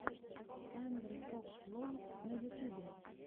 сандрафокслол на ютубе